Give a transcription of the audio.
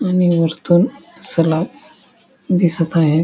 आणि वरतून सलाब दिसत आहे.